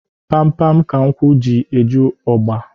Pam pam ka nkwụ ji eju ọgba